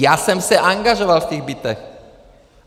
Já jsem se angažoval v těch bytech.